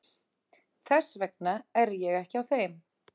Þess vegna er ég ekki á þeim.